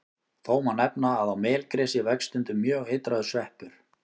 Þó má nefna að á melgresi vex stundum mjög eitraður sveppur.